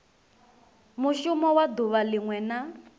mushumo wa duvha linwe na